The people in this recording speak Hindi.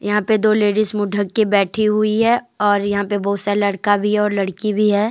यहां पे दो लेडीज मुंह ढक के बैठी हुई है और यहां पे बहुत सारे लड़का भी है और लड़की भी है।